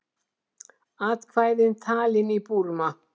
Atkvæði talin í Búrma